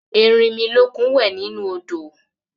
Erinmilókun wẹ̀ nínú odò